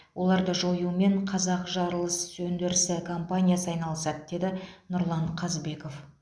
оларды жоюмен қазақжарылысөндірісі компаниясы айналысады деді нұрлан қазбеков